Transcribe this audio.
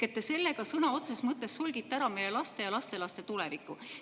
Te sellega sõna otseses mõttes solgite ära meie laste ja lastelaste tuleviku.